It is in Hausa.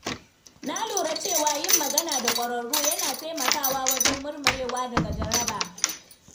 Na lura cewa yin magana da ƙwararru yana taimakawa wajen murmurewa daga jaraba.